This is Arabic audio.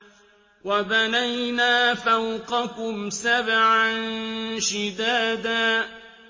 وَبَنَيْنَا فَوْقَكُمْ سَبْعًا شِدَادًا